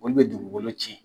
Olu bɛ dugugolo cɛn.